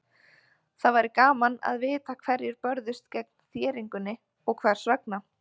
Það væri gaman að vita hverjir börðust gegn þéringunni og hvers vegna.